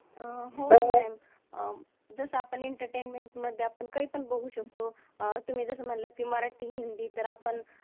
हम्म हो ma'am जस आपण एंटरटेनमेंट मधे आपन काय पण बागू शकतो, अह तुम्ही जस म्हंटल कि मराटी, हिंदी तर आपन